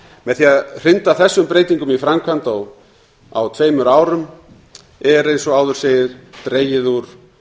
með því að hrinda þessum breytingum í framkvæmd á tveimur árum er eins og áður segir dregið úr